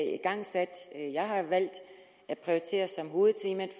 er igangsat og som jeg har valgt at prioritere som hovedtemaet